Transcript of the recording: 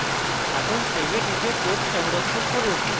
এখন save এ টিপে code সংরক্ষণ করুন